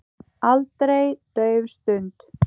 Aldrei dauf stund.